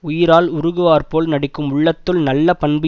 உயிரால் உருகுவார்போல் நடிக்கும் உள்ளத்துள் நல்ல பண்பு